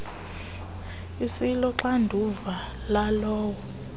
asilo xanduva lalowo